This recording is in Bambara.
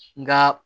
Nka